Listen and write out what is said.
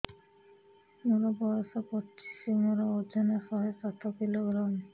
ମୋର ବୟସ ପଚିଶି ମୋର ଓଜନ ଶହେ ସାତ କିଲୋଗ୍ରାମ